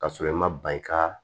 Ka sɔrɔ i ma ban i ka